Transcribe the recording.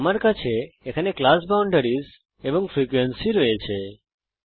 আমার কাছে এখানে ক্লাস বাউন্ডারিস বর্গ গণ্ডি এবং ফ্রিকোয়েন্সিস ফ্রিকোয়েন্সিস আছে